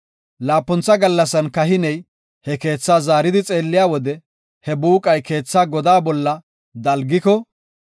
Laapuntha gallasan kahiney he keethaa zaaridi xeelliya wode he buuqay keetha godaa bolla dalgiko,